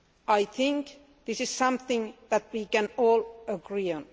I think this is something that we can all agree on.